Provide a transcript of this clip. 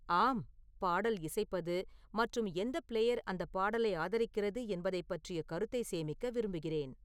ஆம் பாடல் இசைப்பது மற்றும் எந்த பிளேயர் அந்த பாடலை ஆதரிக்கிறது என்பதைப் பற்றிய கருத்தை சேமிக்க விரும்புகிறேன்